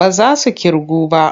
Ba za su ƙirgu ba.